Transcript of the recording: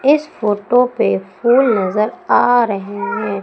इस फोटो पे फूल नजर आ रहे हैं।